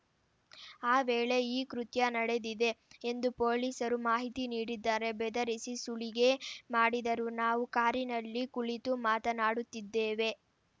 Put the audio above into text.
ಆ ವೇಳೆ ಈ ಕೃತ್ಯ ನಡೆದಿದೆ ಎಂದು ಪೊಲೀಸರು ಮಾಹಿತಿ ನೀಡಿದ್ದಾರೆ ಬೆದರಿಸಿ ಸುಲಿಗೆ ಮಾಡಿದರು ನಾವು ಕಾರಿನಲ್ಲಿ ಕುಳಿತು ಮಾತನಾಡುತ್ತಿದ್ದೆವು